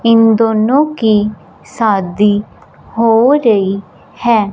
इन दोनों की शादी हो रही है।